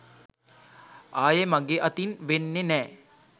ආයෙ මගෙ අතින් වෙන්නෙ නෑ.